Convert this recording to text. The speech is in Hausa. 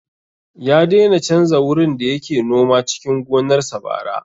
Ya daina canza wurin da yake noma cikin gonar sa bara